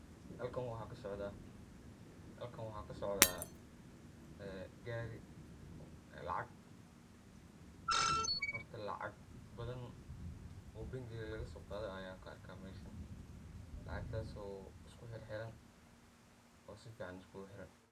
Halkan waxa kasocda Gari, lacag, horta lacag badhan oo bangi lagasoqade aya ku arka meshan, lacag tas oo isku xir xiran oo sifcn iskuguxiran.